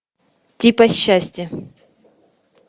типа счастье